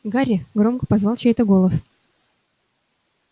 гарри громко позвал чей-то голос